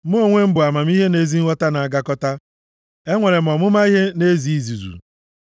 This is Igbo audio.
“Mụ onwe m bụ amamihe na ezi nghọta na-agakọta. Enwere m ọmụma ihe na ezi izuzu.